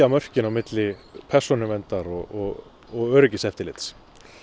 mörkin milli persónuverndar og og öryggiseftirlits